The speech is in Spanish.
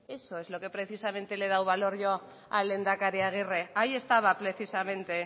eso es a lo que precisamente le he dado valor yo al lehendakari agirre ahí estaba precisamente